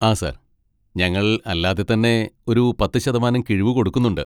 ആ സാർ, ഞങ്ങൾ അല്ലാതെ തന്നെ ഒരു പത്ത് ശതമാനം കിഴിവ് കൊടുക്കുന്നുണ്ട്.